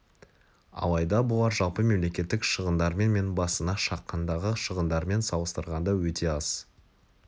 алайда бұлар жалпы мемлекеттік шығындармен және басына шаққандағы шығындармен салыстырғанда өте аз